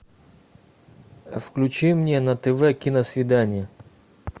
включи мне на тв киносвидание